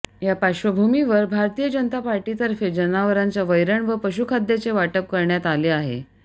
या पार्श्वभूमिवर भारतीय जनता पार्टीतर्फे जनावरांना वैरण व पशुखाद्याचे वाटप करण्यात आले आहे